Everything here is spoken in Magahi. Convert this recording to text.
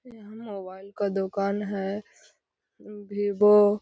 मोबाइल का दुकान है। वीवो --